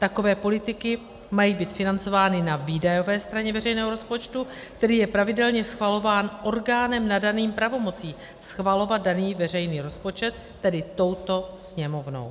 Takové politiky mají být financovány na výdajové straně veřejného rozpočtu, který je pravidelně schvalován orgánem nadaným pravomocí schvalovat daný veřejný rozpočet, tedy touto Sněmovnou.